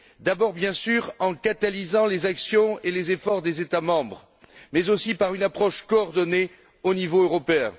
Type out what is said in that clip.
D'abord, bien sûr, en catalysant les actions et les efforts des États membres, mais aussi par une approche coordonnée au niveau européen.